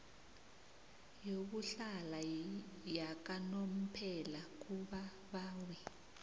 yokuhlala yakanomphela kubabawi